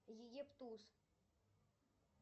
египтус